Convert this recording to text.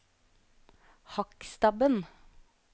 Hakkstabben